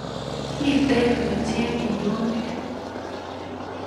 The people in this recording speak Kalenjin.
Mitei yu chepiyonik